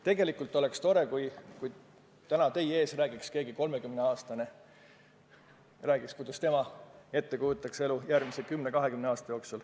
Tegelikult oleks tore, kui täna teie ees räägiks keegi 30-aastane – räägiks, kuidas tema kujutab ette elu järgmise 10–20 aasta jooksul.